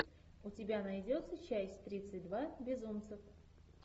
у тебя найдется часть тридцать два безумцев